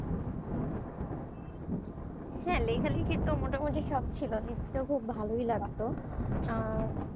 হ্যাঁ লেখালেখি তো মোটামুটি শখ ছিল লিখতে খুব ভালোই লাগেতো আহ